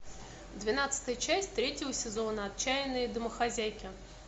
двенадцатая часть третьего сезона отчаянные домохозяйки